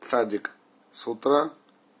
садик с утра